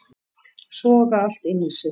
Soga allt inn í sig